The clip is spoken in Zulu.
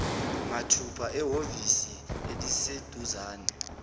mathupha ehhovisi eliseduzane